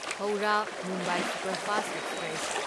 Howrah Mumbai superfast express